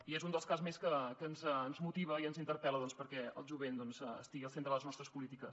i és un cas més que ens motiva i ens interpel·la doncs perquè el jovent estigui al centre de les nostres polítiques